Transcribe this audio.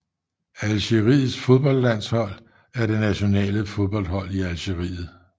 Algeriets fodboldlandshold er det nationale fodboldhold i Algeriet